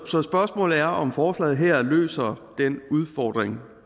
så spørgsmålet er om forslaget her løser den udfordring